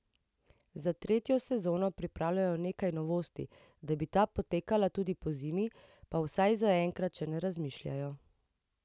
Za tretjo sezono pripravljajo nekaj novosti, da bi ta potekala tudi pozimi pa vsaj zaenkrat še ne razmišljajo.